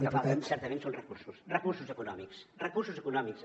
el que falten certament són recursos recursos econòmics recursos econòmics